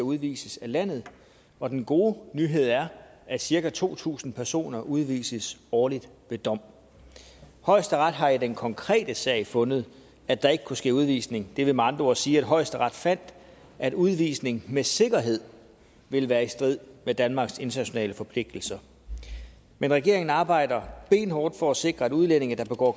udvises af landet og den gode nyhed er at cirka to tusind personer udvises årligt ved dom højesteret har i den konkrete sag fundet at der ikke kunne ske udvisning det vil med andre ord sige at højesteret fandt at udvisning med sikkerhed vil være i strid med danmarks internationale forpligtelser men regeringen arbejder benhårdt for at sikre at udlændinge der begår